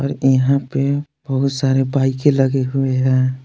यहां पे बहुत सारे बाइके लगी हुए हैं।